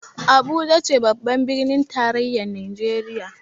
Abuja ce babbar birnin tarayyar Najeriya